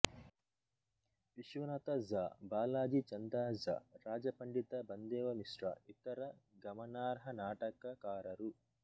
ವಿಶ್ವನಾಥ ಝಾ ಬಾಲಾಜೀ ಚಂದಾ ಝಾ ರಾಜಪಂಡಿತ ಬಂದೇವಮಿಶ್ರ ಇತರ ಗಮನಾರ್ಹ ನಾಟಕಕಾರರು